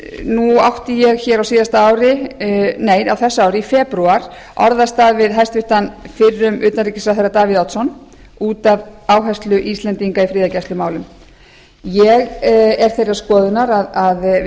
nú átti ég hér á þessu ári í febrúar orðastað við hæstvirtan fyrrum utanríkisráðherra davíð oddsson út af áherslu íslendinga í friðargæslumálum ég er þeirrar skoðunar að við höfum